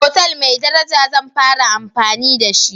otal mai daraja zan fara amfani da shi.